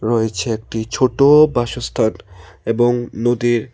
রয়েছে একটি ছোটো বাসস্থান এবং নদীর--